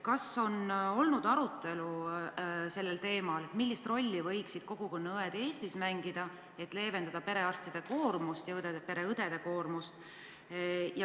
Kas teil on olnud arutelu sellel teemal, millist rolli võiksid Eestis mängida kogukonnaõed, selleks et leevendada perearstide ja pereõdede koormust?